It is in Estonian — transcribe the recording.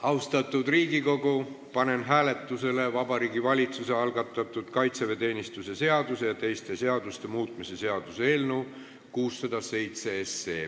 Austatud Riigikogu, panen hääletusele Vabariigi Valitsuse algatatud kaitseväeteenistuse seaduse ja teiste seaduste muutmise seaduse eelnõu 607.